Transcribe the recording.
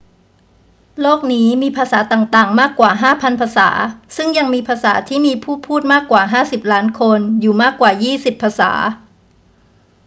โลกนี้มีภาษาต่าง ๆ มากกว่า 5,000 ภาษา ซึ่งยังมีภาษาที่มีผู้พูดมากกว่า 50 ล้านคนอยู่มากกว่ายี่สิบภาษา